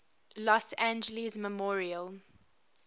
los angeles memorial